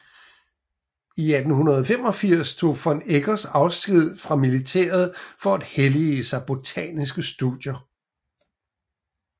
I 1885 tog von Eggers afsked fra militæret for at hellige sig botaniske studier